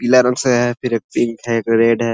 पीला रंग से है फिर एक पिंक है एक रेड है।